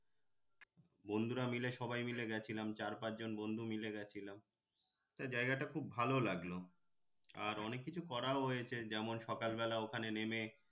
বন্ধুরা মিলে সবাই মিলে গেছিলাম চার পাঁচ জন বন্ধু মিলে গেছিলাম জায়গাটা খুব ভালো লাগলো আর অনেক কিছু করাও হয়েছে যেমন সকাল বেলা ওখানে নেমে